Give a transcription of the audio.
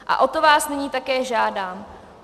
A o to vás nyní také žádám.